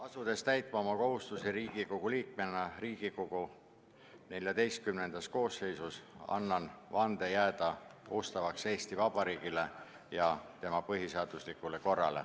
Asudes täitma oma kohustusi Riigikogu liikmena Riigikogu XIV koosseisus, annan vande jääda ustavaks Eesti Vabariigile ja tema põhiseaduslikule korrale.